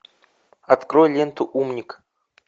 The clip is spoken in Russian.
открой ленту умник